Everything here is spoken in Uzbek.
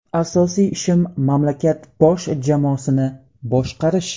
Asosiy ishim mamlakat bosh jamoasini boshqarish.